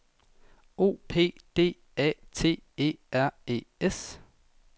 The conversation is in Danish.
O P D A T E R E S